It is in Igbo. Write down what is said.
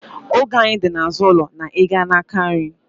Ogwe anyị dị n'azụ ụlọ na ị gaa n'aka nri